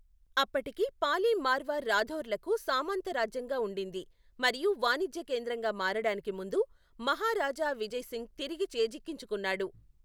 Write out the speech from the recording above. అప్పటికి పాలి మార్వార్ రాథోర్లకు సామంతరాజ్యంగా ఉండింది మరియు వాణిజ్య కేంద్రంగా మారడానికి ముందు మహారాజా విజయ్ సింగ్ తిరిగి చేజిక్కించుకున్నాడు.